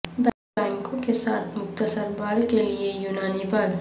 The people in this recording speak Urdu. بنگوں کے ساتھ مختصر بال کے لئے یونانی بال